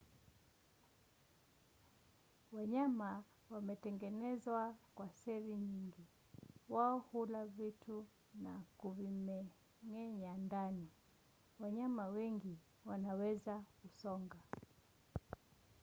wanyama wametengenezwa kwa seli nyingi. wao hula vitu na kuvimeng’enyea ndani. wanyama wengi wanaweza kusonga